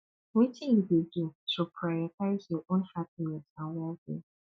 wetin you dey do to prioritize your own happiness and wellbeing